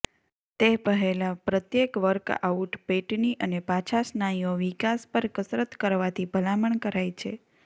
તે પહેલાં પ્રત્યેક વર્કઆઉટ પેટની અને પાછા સ્નાયુઓ વિકાસ પર કસરત કરવાથી ભલામણ કરાય છે